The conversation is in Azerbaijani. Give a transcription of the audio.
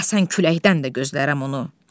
Əsən küləkdən də gözlərəm onu.